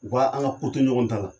U ka an ka ko to ɲɔgɔn ta la.